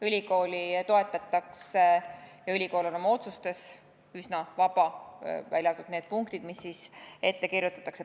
Ülikooli toetatakse ja ülikool on oma otsustes üsna vaba, välja arvatud need punktid, mis siis ette kirjutatakse.